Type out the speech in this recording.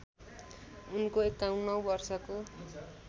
उनको ५१औं वर्षको